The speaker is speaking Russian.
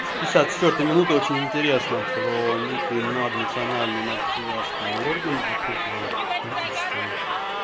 с пятьдесят четвёртой минуты очень интересно про некий над национальный над государственный орден оккультного политического